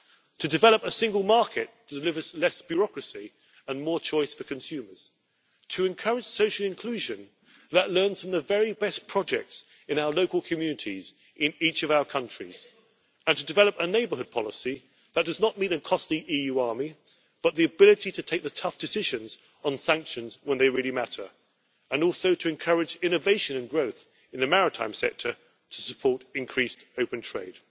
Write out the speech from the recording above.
to develop a single market that delivers less bureaucracy and more choice for consumers, to encourage social inclusion that learns from the very best projects in our local communities in each of our countries, and to develop a neighbourhood policy that does not mean a costly EU army, but the ability to take tough decisions on sanctions when they really matter, and also to encourage innovation and growth in the maritime sector to support increased open trade.